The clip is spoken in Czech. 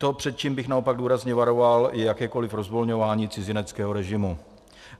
To, před čím bych naopak důrazně varoval, je jakékoliv rozvolňování cizineckého režimu.